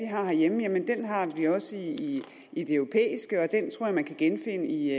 har herhjemme har vi også i det europæiske og den tror jeg man kan genfinde i